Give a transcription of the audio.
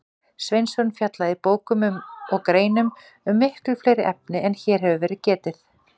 Sveinsson fjallaði í bókum og greinum um miklu fleiri efni en hér hefur verið getið.